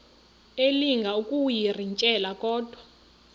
elinga ukuyirintyela kodwa